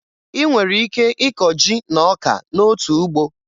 Ị nwere ike ịkọ ji na ọka n'otu ugbo